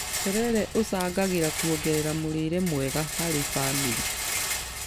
Terere ũcangagĩra kuongerera mũrĩre mwega harĩ bamĩrĩ